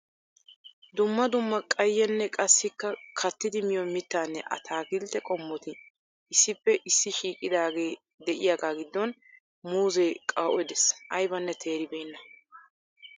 dumma dumma qayyenne qassikka kattdi miyo mitanne atakilte qommoti issippe issi shiiqidaage de'iyaaga giddon muuze qawu'e de'ees aybbanne teeri beena.